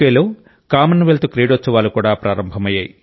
లో కామన్వెల్త్ క్రీడోత్సవాలు కూడా ప్రారంభమయ్యాయి